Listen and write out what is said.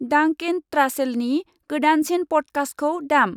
डांकेन ट्रासेलनि गोदानसिन पडकास्टखौ दाम।